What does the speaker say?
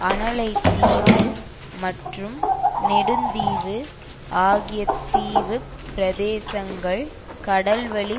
அனலைதீவு மற்றும் நெடுந்தீவு ஆகிய தீவுப் பிரதேசங்கள் கடல் வழி